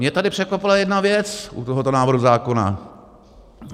Mě tady překvapila jedna věc u tohoto návrhu zákona.